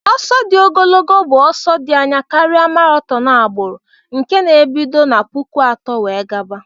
Ọsọ di ogolgo bu ọsọ di anya karia marathon agbụrụ nke n'ibido na puku atọ wee gaba.